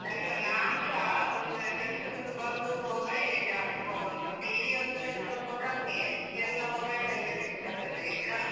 ಇಲ್ಲ ನಾನ್ಸಾ, ಅಂದ್ರೆ ಕೆಲ್ಸದಿಂದ ಬಂದು mobile ಲೇ ಜಾಸ್ತಿ ನೋಡುದು, TV ಅಂದ್ರೆ ಸ್ವಲ್ಪ ಕಮ್ಮಿಯೇ, ಎಲ್ಲಾ mobile ಅಲ್ಲೇ ಸಿಗ್ತದಲ್ಲ ಈಗ.